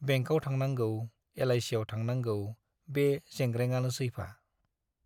बेंकआव थांनांगौ, एलआइसियाव थांनांगौ बे जोंग्रेंआनोसैफा।